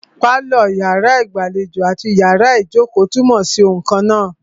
Pálọ̀, iyàrá ìgbàlejò àti iyàrá ìjókò túnmọ̀ sí oun kannáà.